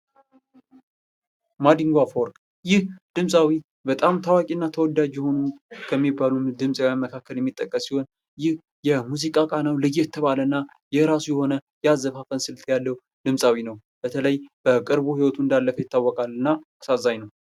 ማዲንጐ አፈወርቅ ይህ ድምፃዊ በጣም ታዋቂና ተወዳጅ የሆኑ ከሚባሉ ድምፃዊ መካከል የሚጠቀስ ሲሆን ይህ የሙዚቃ ቃናው ለየት ባለ እና የራሱ የሆነ ያዘፋፈን ስልት ያለው ድምጻዊ ነው። በተለይ በቅርቡ ህይወቱ እንዳለፈ ይታወቃል ።እና እሳዛኝ ነው።